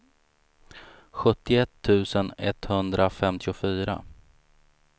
sjuttioett tusen etthundrafemtiofyra